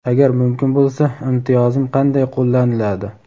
Agar mumkin bo‘lsa imtiyozim qanday qo‘llaniladi?.